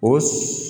O